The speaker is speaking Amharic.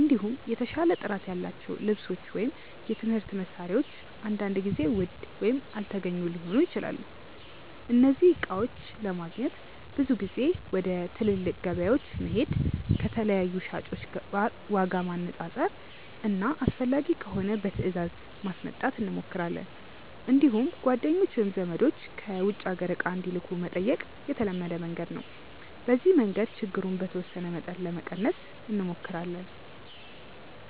እንዲሁም የተሻለ ጥራት ያላቸው ልብሶች ወይም የትምህርት መሳሪያዎች አንዳንድ ጊዜ ውድ ወይም አልተገኙ ሊሆኑ ይችላሉ። እነዚህን እቃዎች ለማግኘት ብዙ ጊዜ ወደ ትልቅ ገበያዎች መሄድ፣ ከተለያዩ ሻጮች ዋጋ ማነፃፀር እና አስፈላጊ ከሆነ በትእዛዝ ማስመጣት እንሞክራለን። እንዲሁም ጓደኞች ወይም ዘመዶች ከውጭ አገር እቃ እንዲልኩ መጠየቅ የተለመደ መንገድ ነው። በዚህ መንገድ ችግሩን በተወሰነ መጠን ለመቀነስ እንሞክራለን።